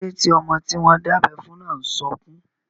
Kíló dé tí ọmọ tí wọ́n dábẹ́ fún náà n sọkún?